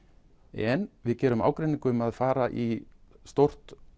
en við gerum ágreining um það að fara í stórt